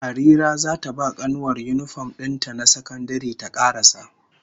Harira zata ba kanuwar yinifom din ta na sakandare ta karasa